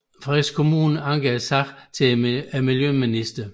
Frederiksberg Kommune anker sagen til miljøministeren